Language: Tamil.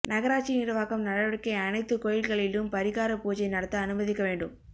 நகராட்சி நிர்வாகம் நடவடிக்கை அனைத்து கோயில்களிலும் பரிகார பூஜை நடத்த அனுமதிக்க வேண்டும்